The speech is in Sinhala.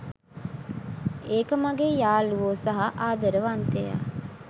ඒක මගේ යාළුවෝ සහ ආදරවන්තයා.